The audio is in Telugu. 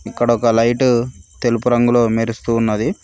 ఇక్కడ ఒక లైటు తెలుపు రంగులో మెరుస్తూ ఉన్నది.